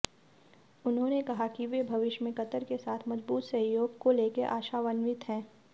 उन्होंने कहा कि वे भविष्य में कतर के साथ मजबूत सहयोग को लेकर आशान्वित हैं